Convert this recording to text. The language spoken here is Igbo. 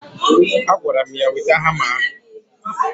Agwara m ya, weta hama ahụ!